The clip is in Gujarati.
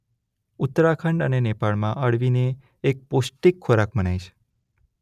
ઉત્તરાખંડ અને નેપાળમાં અળવીને એક પૌષ્ટિક ખોરાક મનાય છે.